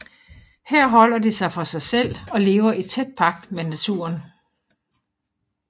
Her holder de sig for sig selv og lever i tæt pagt med naturen